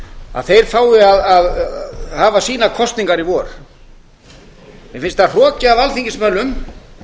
að þeir fái að hafa sínar kosningar í vor mér finnst það hroki af alþingismönnum